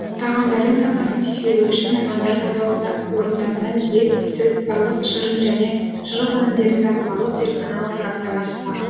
тағамдардың сапасын тексеру үшін мамандар сауда орындарынан ет сүт балық шырын және шұжық өнімдерін сатып алып зертханалық сараптама жасаған